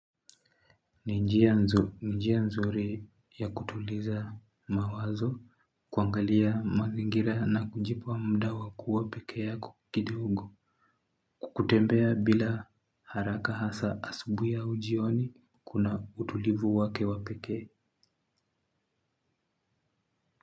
Ni njia nzuri ya kutuliza mawazo kuangalia mazingira na kujipa muda kuwa peke yako kidogo kutembea bila haraka hasa asubuhi au jioni kuna utulivu wake wa pekee.